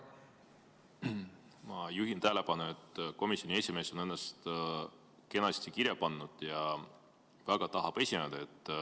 Ma juhin tähelepanu, et komisjoni esimees on ennast kenasti kirja pannud ja väga tahab esineda.